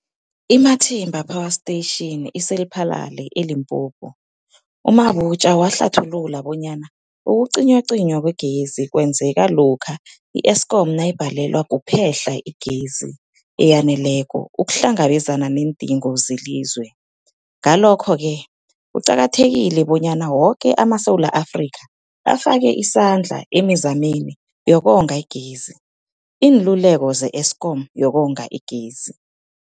I-Matimba Power Station ise-Lephalale, eLimpopo. U-Mabotja wahlathulula bonyana ukucinywacinywa kwegezi kwenzeka lokha i-Eskom nayibhalelwa kuphe-hla igezi eyaneleko ukuhlangabezana neendingo zelizwe. Ngalokho-ke kuqakathekile bonyana woke amaSewula Afrika afake isandla emizameni yokonga igezi. Iinluleko ze-Eskom ngokonga igezi.